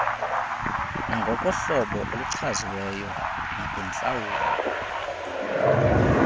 nangokohlobo oluchaziweyo nakwintlawulo